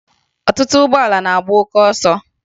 Ọtụtụ ụgbọala na-agba oke ọsọ